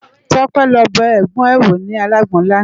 Tope lò bè ègbòn è wó ni àlágbòn làná